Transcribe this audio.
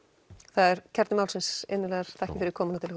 það er kjarni málsins innilegar þakkir fyrir komuna til